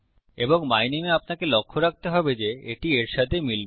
এবং মাই নামে এ আমাকে লক্ষ্য রাখতে হবে যে এটি এর সাথে মিলবে